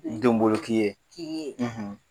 Donbolo k'i ye.